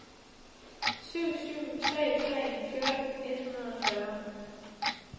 syv syv tre tre fjorten et hundrede og fyrre